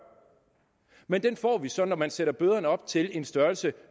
men den får vi så når man sætter bøderne op til en størrelse